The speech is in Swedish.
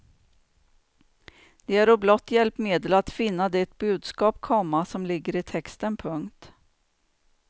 De äro blott hjälpmedel att finna det budskap, komma som ligger i texten. punkt